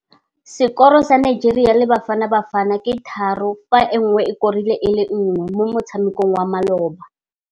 Sekôrô sa Nigeria le Bafanabafana ke 3-1 mo motshamekong wa malôba.